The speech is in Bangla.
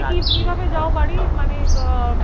কি ভাবে যাও বাড়ি মানে আহ